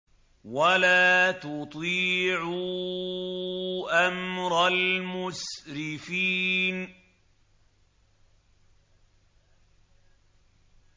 وَلَا تُطِيعُوا أَمْرَ الْمُسْرِفِينَ